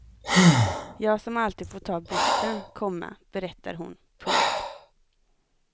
Jag som alltid fått ta bussen, komma berättar hon. punkt